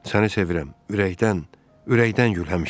Səni sevirəm, ürəkdən, ürəkdən gül həmişə.